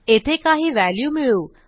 येथे काही व्हॅल्यू मिळवू